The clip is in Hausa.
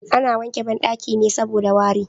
A na wanke banɗaki saboda wari